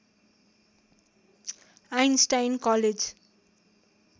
Einstein college